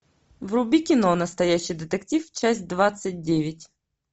вруби кино настоящий детектив часть двадцать девять